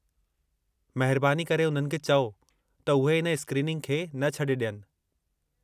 महिरबानी करे उन्हनि खे चओ त उहे इन स्क्रीनिंग खे न छॾे ॾियनि।